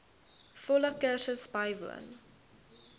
volle kursus bywoon